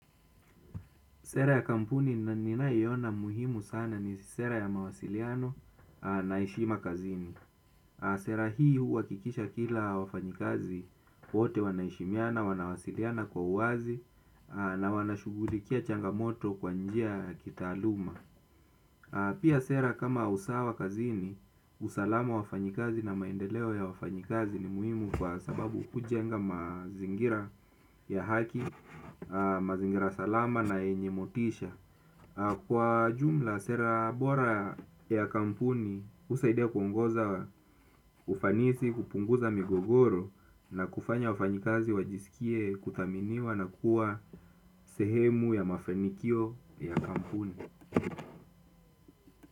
Sera ya kampuni ninayeona muhimu sana ni sera ya mawasiliano na heshima kazini. Sera hii, huwakikisha kila wafanyikazi wote wanaheshimiana, wanawasiliana kwa uwazi na wanashugulikia changamoto kwa njia ya kitaluma. Pia, sera kama usawa kazini, usalama wafanyikazi na maendeleo ya wafanyikazi ni muhimu kwa sababu hujenga mazingira ya haki, mazingira salama na yenye motisha. Kwa jumla, sera bora ya kampuni, husaidia kuongoza ufanisi, kupunguza migogoro na kufanya wafanyikazi wajisikie kuthaminiwa na kua sehemu ya mafanikio ya kampuni.